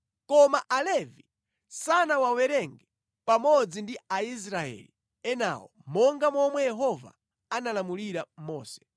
Koma Alevi sanawawerenge pamodzi ndi Aisraeli enawo monga momwe Yehova analamulira Mose.